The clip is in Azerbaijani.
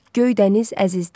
Göydəniz əzizdir.